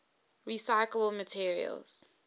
recyclable materials